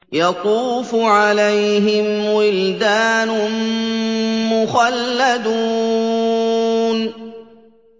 يَطُوفُ عَلَيْهِمْ وِلْدَانٌ مُّخَلَّدُونَ